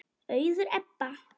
Auður Ebba.